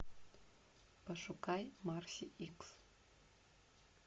пошукай марси икс